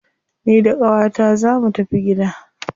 Ni da qawata zaa mu tafi gida.